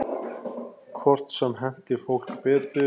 Hvort sem henti fólki betur.